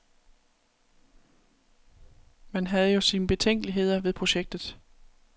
Man havde jo sine betænkeligheder ved projektet.